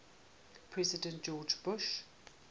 president george bush